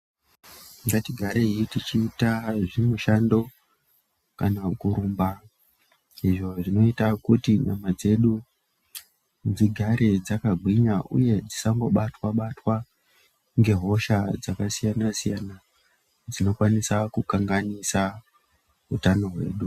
Ngatigarei tichiita zvimushando kana kurumba izvo zvinoita nyama dzedu dzigare dzakagwinya uye kuti dzisangibatwa batwa ngehosha dzakasiyana siyana dzinokwanisa kukanganisa utano hwedu.